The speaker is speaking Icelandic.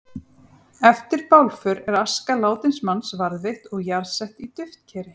Eftir bálför er aska látins manns varðveitt og jarðsett í duftkeri.